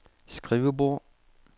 skrivebord